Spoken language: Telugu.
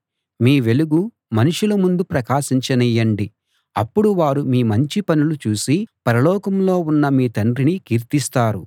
మీ వెలుగు మనుషుల ముందు ప్రకాశించనీయండి అప్పుడు వారు మీ మంచి పనులు చూసి పరలోకంలో ఉన్న మీ తండ్రిని కీర్తిస్తారు